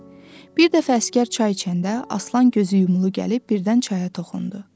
Bir dəfə əsgər çay içəndə Aslan gözü yumulu gəlib birdən çaya toxundu.